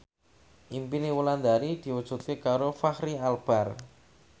impine Wulandari diwujudke karo Fachri Albar